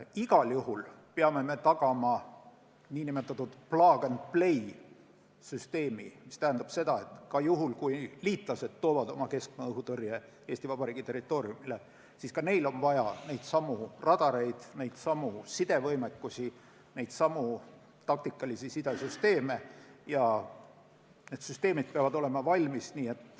Igal juhul peame tagama nn plug-and-play-süsteemi, mis tähendab seda, et juhul, kui liitlased toovad oma keskmaa-õhutõrje Eesti Vabariigi territooriumile, siis on ka neil vaja neidsamu radareid, neidsamu sidevõimalusi, neidsamu taktikalisi sidesüsteeme ning need süsteemid peavad olema kasutamiseks valmis.